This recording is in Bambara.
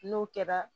N'o kɛra